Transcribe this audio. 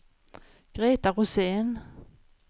Greta Rosén